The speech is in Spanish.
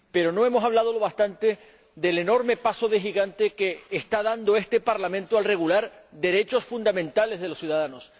Pero no hemos hablado bastante del enorme paso de gigante que está dando este Parlamento al regular derechos fundamentales de los ciudadanos.